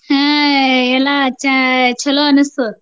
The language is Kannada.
ಹ್ಮ ಎಲ್ಲ ಚಾ~ ಚೊಲೋ ಅನ್ನಿಸ್ತದ.